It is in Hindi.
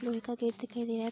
लोहे का गेट दिखाई दे --